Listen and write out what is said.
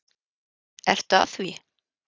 Ertu að því?